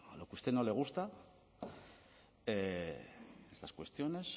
lo que a usted no le gusta estas cuestiones